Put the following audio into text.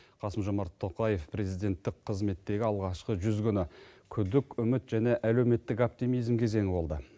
қасым жомарт тоқаев президенттік қызметтегі алғашқы жүз күні күдік үміт және әлеуметтік оптимизм кезеңі болды